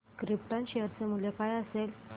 krypton share चे मूल्य काय असेल